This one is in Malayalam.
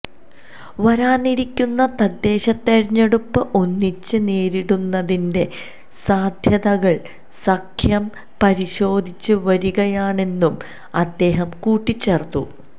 വരാനിരിക്കുന്ന തദ്ദേശ തിരഞ്ഞെടുപ്പ് ഒന്നിച്ച് നേരിടുന്നതിന്റെ സാധ്യതകള് സഖ്യം പരിശോധിച്ച് വരികയാണെന്നും അദ്ദേഹം കൂട്ടിച്ചേര്ത്തു